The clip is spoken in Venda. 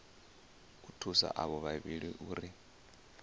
u thusa avho vhavhili uri